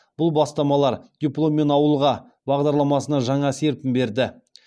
бұл бастамалар дипломмен ауылға бағдарламасына жаңа серпін берді